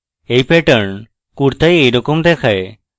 এই pattern কূর্তায় এইরকম দেখায়